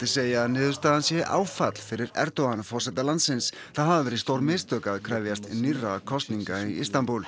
segja að niðurstaðan sé áfall fyrir Erdogan forseta landsins það hafi verið stór mistök að krefjast nýrra kosninga í Istanbúl